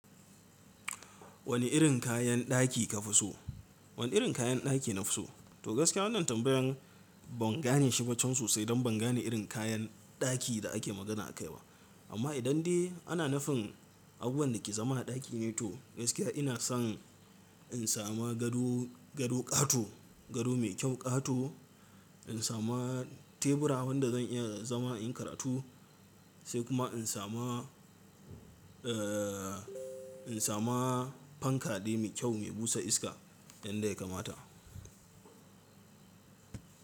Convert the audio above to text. Wani irin kayan ɗaki ka fi so? Wani irin kayan ɗaki nafiso? To gaskiya wannan tambayan ban gane shi ba chan sosai dan ban gane irin kayan ɗaki da ake magana akai ba. Amma idan dai ana nufin abubuwan da ke zama a ɗaki ne to gaskiya ina san in samu gado, gado ƙato, gado mai kyau ƙato, in samu tebura wanda zan iya zama in karatu sai kuma in samu, eh in samu fanka dai mai kyau mai busa iska in da kamata.